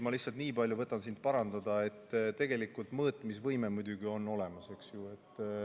Ma lihtsalt nii palju parandan sind, et tegelikult mõõtmisvõime on muidugi olemas, eks ju.